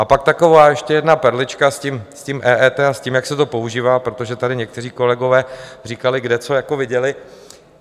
A pak taková ještě jedna perlička s tím EET a s tím, jak se to používá, protože tady někteří kolegové říkali, kde co jako viděli.